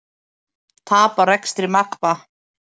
Tap á rekstri Magma